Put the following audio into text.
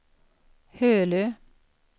Hölö